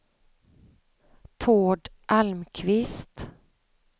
Tord Almqvist